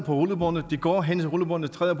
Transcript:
rullebåndet de går hen til rullebåndet træder